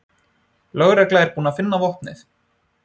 Lögreglan er búin að finna vopnið